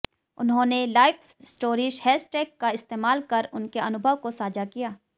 उन्होंने life stories hashtag का इस्तेमाल कर उनके अनुभव को साझा किया